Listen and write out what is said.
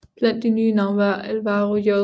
Blandt de nye navne var Álvaro J